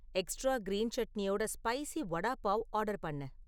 extra green சட்னியோட spicy vada pav order பண்ணு